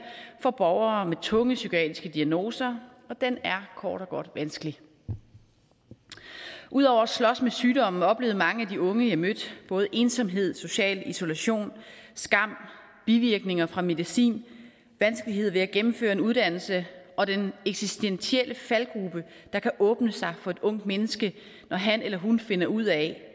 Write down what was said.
for borgere med tunge psykiatriske diagnoser og den er kort og godt vanskelig ud over at slås med sygdommen oplevede mange af de unge jeg mødte både ensomhed og social isolation skam bivirkninger fra medicin vanskeligheder ved at gennemføre en uddannelse og den eksistentielle faldgruppe der kan åbne sig for et ungt menneske når han eller hun finder ud af